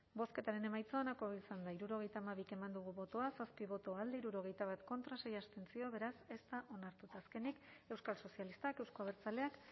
bozketaren emaitza onako izan da hirurogeita hamabi eman dugu bozka zazpi boto alde hirurogeita bat contra sei abstentzio beraz ez da onartu eta azkenik euskal sozialistak euzko abertzaleak